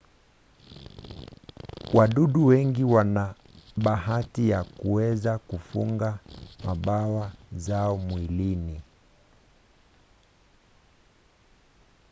wadudu wengi wana bahati ya kuweza kufunga mbawa zao mwilini